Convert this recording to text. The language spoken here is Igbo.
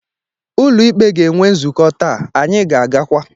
Ụlọ ikpe ga-enwe nzukọ taa, anyị ga-agakwa.